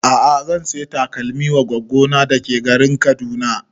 A'a zan saya takalmin wa goggo na da ke garin Kaduna